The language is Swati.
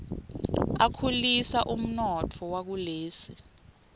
akhulisa umnotfo wakulesi